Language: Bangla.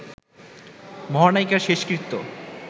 মহানায়িকার শেষকৃত্য